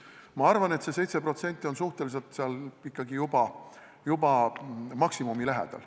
Ma arvan, et see 7% on juba suhteliselt maksimumi lähedal.